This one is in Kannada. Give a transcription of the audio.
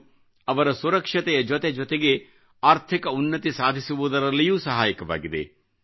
ಇದು ಅವರ ಸುರಕ್ಷತೆಯ ಜೊತೆ ಜೊತೆಗೆ ಆರ್ಥಿಕ ಉನ್ನತಿ ಸಾಧಿಸುವುದರಲ್ಲಿಯೂ ಸಹಾಯಕವಾಗಿದೆ